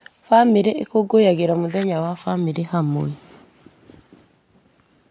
Bamĩrĩ ĩkũngũyagĩra mũthenya wa bamĩrĩ hamwe.